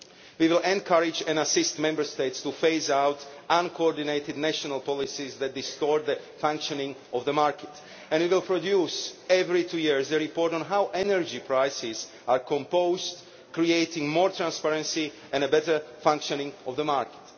We will encourage and assist Member States to phase out uncoordinated national policies that distort the functioning of the market, and we will produce, every two years, a report on how energy prices are composed, creating more transparency and a better functioning of the market.